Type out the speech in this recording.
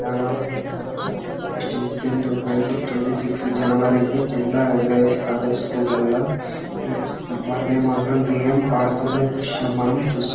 చానా August fifteenth twenty six జనవరి కి జెండా ఎగర వేస్తారు స్కూల ల్లా ఈ వందేమాతరం గేయం పాడుతున్న దృశ్యం మనం చూస్--